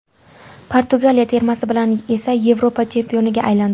Portugaliya termasi bilan esa Yevropa chempioniga aylandi .